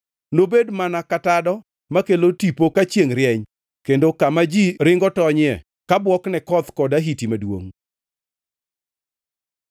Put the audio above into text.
Nobed mana ka tado makelo tipo ka chiengʼ rieny kendo ka kama ji ringo tonyie ka bwok ne koth kod ahiti maduongʼ.